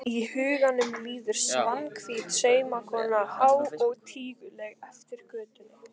Í huganum líður Svanhvít saumakona há og tíguleg eftir götunni.